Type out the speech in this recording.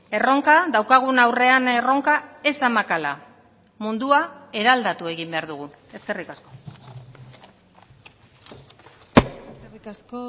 erronka daukagun aurrean erronka ez da makala mundua eraldatu egin behar dugu eskerrik asko eskerrik asko